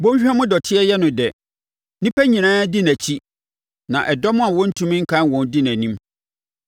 Bɔnhwa mu dɔteɛ yɛ no dɛ; nnipa nyinaa di nʼakyi, na ɛdɔm a wɔntumi nkan wɔn di nʼanim.